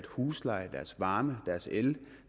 husleje deres varme deres el